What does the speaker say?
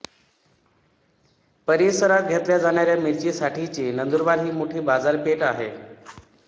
परिसरात घेतल्या जाणाऱ्या मिरचीसाठीची नंदुरबार ही मोठी बाजारपेठ आहे